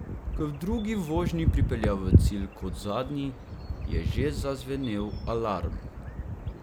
Ko je v drugi vožnji pripeljal v cilj kot zadnji, je že zazvenel alarm.